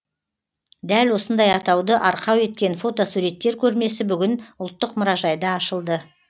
дәл осындай атауды арқау еткен фотосуреттер көрмесі бүгін ұлттық мұражайда ашылды